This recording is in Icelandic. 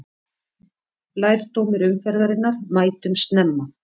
Lærdómur umferðarinnar: Mætum snemma!